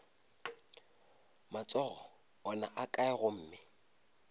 matsogo ona a kae gomme